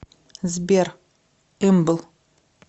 сбер ымбл